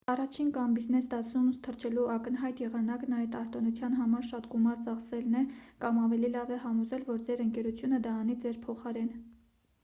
առաջին կամ բիզնես դասում թռչելու ակնհայտ եղանակն այդ արտոնության համար շատ գումար ծախսելն է կամ ավելի լավ է համոզել որ ձեր ընկերությունը դա անի ձեր փոխարեն։